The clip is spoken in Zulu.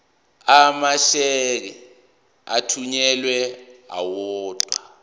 amasheke athunyelwa odwa